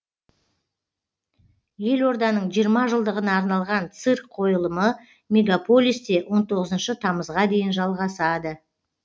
елорданың жиырма жылдығына арналған цирк қойылымы мегаполисте он тоғызыншы тамызға дейін жалғасады